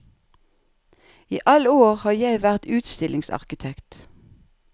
I alle år har jeg vært utstillingsarkitekt.